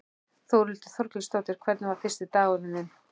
Þórhildur Þorkelsdóttir: Hvernig var fyrsti dagurinn þinn?